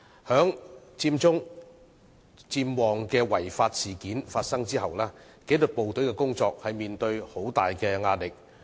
在佔中、佔旺違法事件發生後，紀律部隊的工作面對很大壓力。